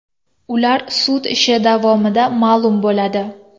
Ular sud ishi davomida ma’lum bo‘ladi.